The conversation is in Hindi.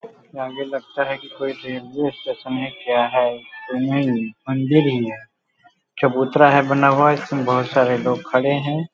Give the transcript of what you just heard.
यहाँ आगे लगता है कि कोई रेलवे स्टेशन है क्या है मंदिर ही है चबूतरा है बना हुआ इसमें बहुत सारे लोग खड़े हैं।